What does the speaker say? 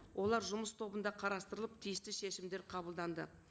олар жұмыс тобында қарастырылып тиісті шешімдер қабылданды